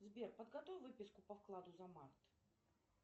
сбер подготовь выписку по вкладу за март